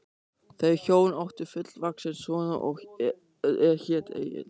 Þau hjón áttu fullvaxinn son er hét Egill.